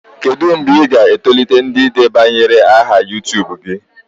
Kedu mgbe ị ga-etolite ndị debanyere aha YuTubu gị?